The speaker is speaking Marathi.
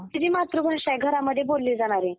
आपली जी मातृभाषा आहे घरामध्ये बोलली जाणारी